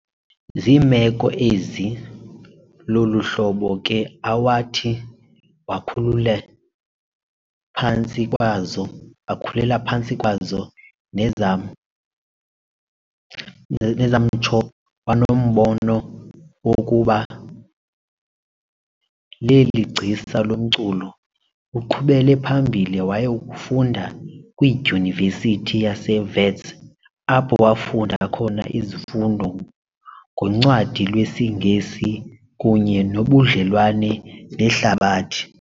Ziimeko ezi lolu hlobo ke awathi wakhulela phantsi kwazo nezamtsho wanombono wokuba leli gcisa lomculo. Uqhubele phambili wayakufunda kwiDyunivesithi yaseWits apho wafunda khona izifundo ngoncwadi lwesiNgesi kunye nobudlelwane nehlabathi.